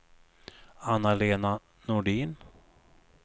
Anna-Lena Nordin